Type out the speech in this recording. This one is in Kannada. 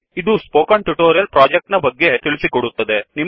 ಇದು ಸ್ಪೋಕನ್ ಟ್ಯುಟೋರಿಯಲ್ ಪ್ರೋಜೆಕ್ಟ್ ನ ಬಗ್ಗೆ ತಿಳಿಸಿಕೊಡುತ್ತದೆ